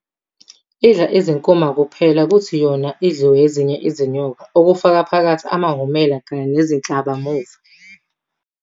Idla iziNkuma kuphela kuthi yona idliwe ezinye izinyoka, okufaka phakathi amahhumela kanye neziNhlabamuva, ebese kuthi iziCabucabu, oFezela kanye namaShongololo wona akujwayelekile ukuthi ayidle.